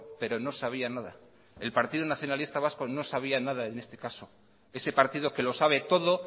pero no sabía nada el partido nacionalista vasco no sabía nada en este caso ese partido que lo sabe todo